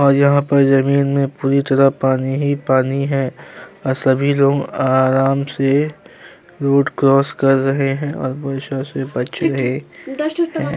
और यहाँ पर ज़मीन में पूरी तरह पानी ही पानी है और सभी लोग आराम से रोड क्रॉस कर रहे हैं और वर्षा से बचे हैं। एं --